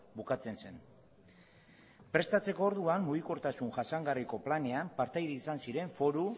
bukatzen zen prestatzeko orduan mugikortasun jasangarriko planean partaide izan ziren foru